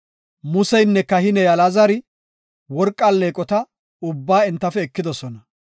Museynne kahiney Alaazari worqa alleeqota ubbaa entafe ekidosona.